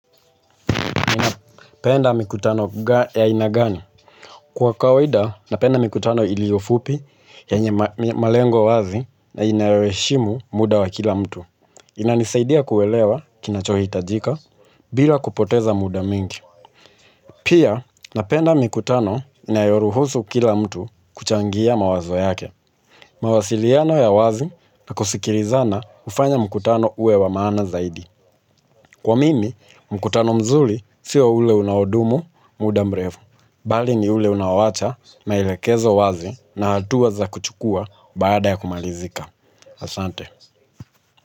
Unapenda mikutano ya aina gani? Kwa kawaida, napenda mikutano iliyo fupi yenye malengo wazi na inayoheshimu muda wa kila mtu. Inanisaidia kuelewa kinachohitajika bila kupoteza muda mingi. Pia, napenda mikutano inayoruhusu kila mtu kuchangia mawazo yake. Mawasiliano ya wazi na kusikilizana hufanya mkutano uwe wa maana zaidi. Kwa mimi, mkutano mzuro sio ule unaodumu, muda mrefu. Bali ni ule unaoacha maelekezo wazi na hatua za kuchukua baada ya kumalizika. Asante.